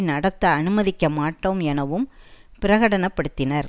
நடத்த அனுமதிக்க மாட்டோம் எனவும் பிரடனப்படுத்தினர்